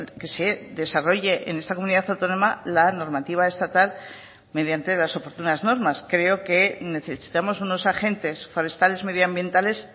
que se desarrolle en esta comunidad autónoma la normativa estatal mediante las oportunas normas creo que necesitamos unos agentes forestales medioambientales